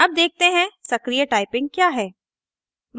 अब देखते हैं सक्रीय टाइपिंग क्या है